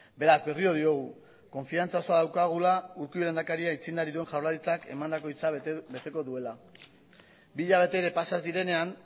beraz berriro diogu konfidantza oso daukagula urkullu lehendakariak aitzindari duen jaurlaritzak emandako hitza beteko duela bi hilabete ere pasa ez direnean